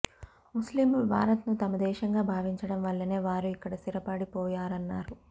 ముస్లింలు భారత్ను తమ దేశంగా భావించడం వల్లనే వారు ఇక్కడ స్థిరపడిపోయారన్నారు